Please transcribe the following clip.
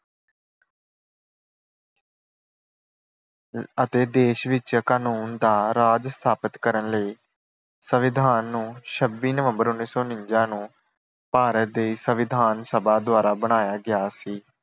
ਅਤੇ ਦੇਸ਼ ਵਿੱਚ ਕਾਨੂੰਨ ਦਾ ਰਾਜ ਸਥਾਪਿਤ ਕਰਨ ਲਈ ਸੰਵਿਧਾਨ ਨੂੰ ਛੱਬੀ ਨਵੰਬਰ ਉਨੀ ਸੌ ਉਨੰਜਾ ਨੂੰ ਭਾਰਤ ਦੀ ਸੰਵਿਧਾਨ ਸਭਾ ਦੁਆਰਾ ਬਣਾਇਆ ਗਿਆ ਸੀ।